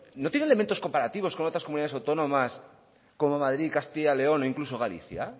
no tienen elementos comparativos con otras comunidades autónomas como madrid castilla león o incluso galicia